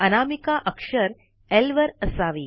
अनामिका अक्षर ल वर असावी